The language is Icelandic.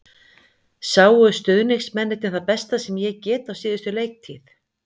Sáu stuðningsmennirnir það besta sem ég get á síðustu leiktíð?